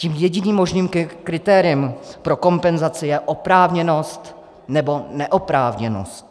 Tím jediným možným kritériem pro kompenzaci je oprávněnost nebo neoprávněnost.